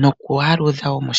nokwaaludha wo.